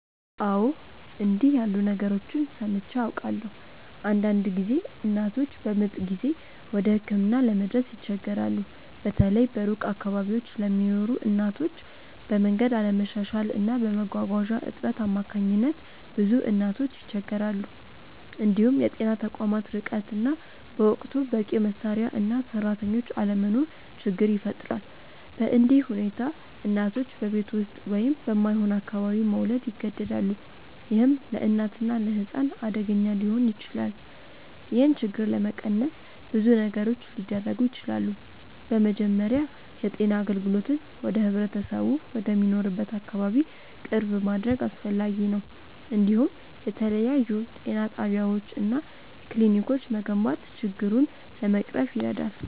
አዎ፣ እንዲህ ያሉ ነገሮችን ሰምቼ አውቃለሁ። አንዳንድ ጊዜ እናቶች በምጥ ጊዜ ወደ ሕክምና ለመድረስ ይቸገራሉ፤ በተለይ በሩቅ አካባቢዎች ለሚኖሩ እናቶች፤ በመንገድ አለመሻሻል እና በመጓጓዣ እጥረት አማካኝነት ብዙ እናቶች ይቸገራሉ። እንዲሁም የጤና ተቋማት ርቀት እና በወቅቱ በቂ መሳሪያ እና ሰራተኞች አለመኖር ችግር ይፈጥራል። በእንዲህ ሁኔታ እናቶች በቤት ውስጥ ወይም በማይሆን አካባቢ መውለድ ይገደዳሉ፣ ይህም ለእናትና ለሕፃን አደገኛ ሊሆን ይችላል። ይህን ችግር ለመቀነስ ብዙ ነገሮች ሊደረጉ ይችላሉ። በመጀመሪያ የጤና አገልግሎትን ወደ ህብረተሰቡ ወደሚኖርበት አካባቢ ቅርብ ማድረግ አስፈላጊ ነው፤ እንዲሁም የተለያዩ ጤና ጣቢያዎች እና ክሊኒኮች መገንባት ችግሩን ለመቅረፍ ይረዳል።